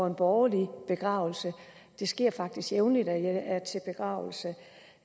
en borgerlig begravelse det sker faktisk jævnligt at jeg er til begravelse